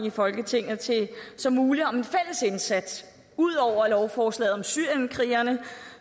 i folketinget som muligt om en fælles indsats ud over lovforslaget om syrienskrigerne